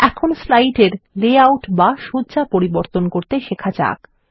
এখন স্লাইডের লেআউট বা সজ্জা পরিবর্তন করা শিখতে যাক